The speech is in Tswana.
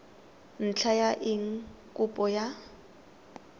ntlha ya eng kopo ya